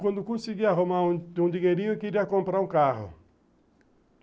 Quando consegui arrumar um dinheirinho, eu queria comprar um carro.